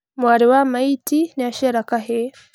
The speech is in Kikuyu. Mwarĩ wa maitĩ nĩaciara kahĩĩ